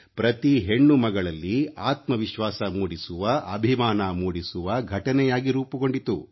ಪ್ರತಿ ಹೆಣ್ಣು ಮಗಳಲ್ಲಿ ಆತ್ಮ ವಿಶ್ವಾಸ ಮೂಡಿಸುವ ಅಭಿಮಾನ ಮೂಡಿಸುವ ಘಟನೆಯಾಗಿ ರೂಪುಗೊಂಡಿತು